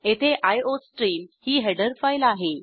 येथे आयोस्ट्रीम ही header file आहे